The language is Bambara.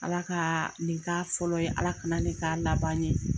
Ala ka nin k'a fɔlɔ ye, Ala kana nin k'a laban ye.